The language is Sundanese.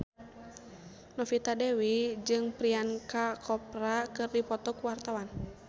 Novita Dewi jeung Priyanka Chopra keur dipoto ku wartawan